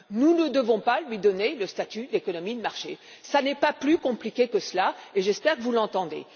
Nous ne devons pas lui donner le statut d'économie de marché. Ce n'est pas plus compliqué que cela, et j'espère que vous l'entendez.